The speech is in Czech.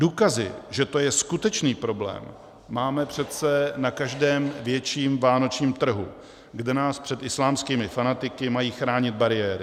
Důkazy, že to je skutečný problém, máme přece na každém větším vánočním trhu, kde nás před islámskými fanatiky mají chránit bariéry.